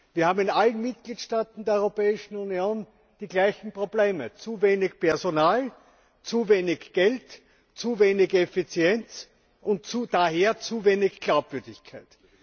Wir haben in allen Mitgliedstaaten der Europäischen Union die gleichen Probleme zu wenig Personal, zu wenig Geld, zu wenig Effizienz und daher zu wenig Glaubwürdigkeit.